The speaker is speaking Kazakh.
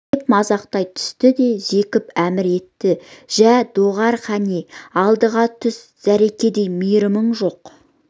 деп мазақтай түсті де зекіп әмір етті жә доғар қане алдыға түс зәредей мейірімің жоқ